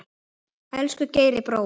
Elsku Geiri brói.